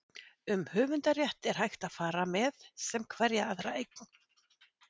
um höfundarrétt er hægt að fara með sem hverja aðra eign